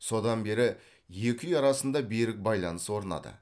содан бері екі үй арасында берік байланыс орнады